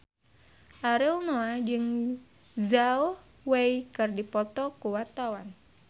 Ariel Noah jeung Zhao Wei keur dipoto ku wartawan